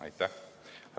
Aitäh!